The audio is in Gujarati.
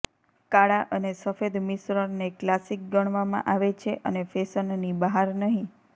કાળા અને સફેદ મિશ્રણને ક્લાસિક ગણવામાં આવે છે અને ફેશનની બહાર નહીં